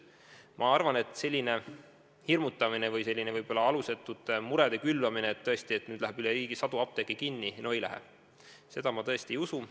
Ma arvan, et selline hirmutamine või selline alusetute murede külvamine, nagu läheks nüüd üle riigi sadu apteeke kinni – no ei lähe –, seda ma tõesti ei usu.